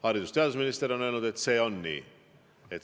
Haridus- ja teadusminister on öelnud, et see on nii.